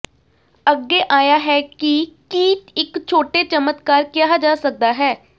ਅੱਗੇ ਆਇਆ ਹੈ ਕਿ ਕੀ ਇੱਕ ਛੋਟੇ ਚਮਤਕਾਰ ਕਿਹਾ ਜਾ ਸਕਦਾ ਹੈ